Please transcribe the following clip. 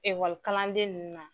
kalanden ninnu na.